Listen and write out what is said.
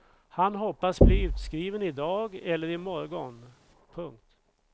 Han hoppas bli utskriven i dag eller i morgon. punkt